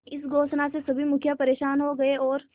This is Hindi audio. इस घोषणा से सभी मुखिया परेशान हो गए और